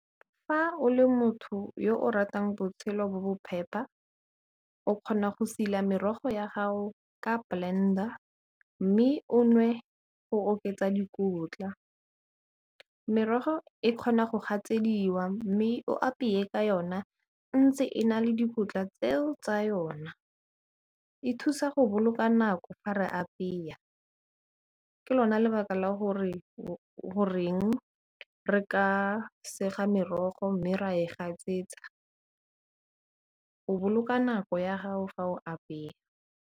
Fa o le motho yo o ratang botshelo bo bo phepa, o kgona go sila merogo ya ga'o ka blender, mme o nwe go oketsa dikotla. Merogo e kgona go gatsediwa, mme o apeye ka yona ntse e na le dikotla tseo tsa yona. E thusa go boloka nako fa re apeya, ke lona lebaka la gore goreng re ka sega merogo, mme ra e gatsetsa, o boloka nako ya ga'o fa o apeya.